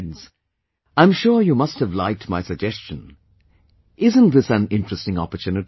Friends, I'm sure you must have liked my suggestion... isn't this an interesting opportunity